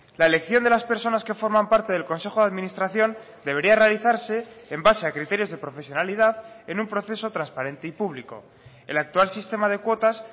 la elección de las personas que forman parte del consejo de administración debería realizarse en base a criterios de profesionalidad en un proceso transparente y público el actual sistema de cuotas